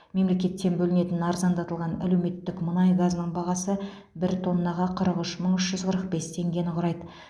мемлекеттен бөлінетін арзандатылған әлеуметтік мұнай газының бағасы бір тоннаға қырық үш мың үш жүз қырық бес теңгені құрайды